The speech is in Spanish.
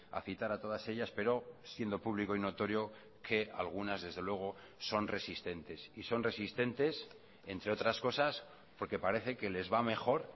a citar a todas ellas pero siendo público y notorio que algunas desde luego son resistentes y son resistentes entre otras cosas porque parece que les va mejor